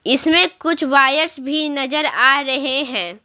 इसमें कुछ वायर्स भी नजर आ रहे हैं।